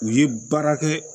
U ye baara kɛ